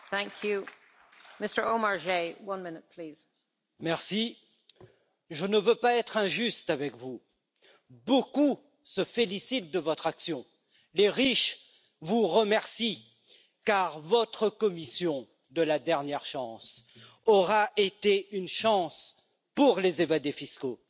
Madame la Présidente, Monsieur Juncker, je ne veux pas être injuste avec vous, beaucoup se félicitent de votre action. Les riches vous remercient, car votre Commission de la dernière chance aura été une chance pour les évadés fiscaux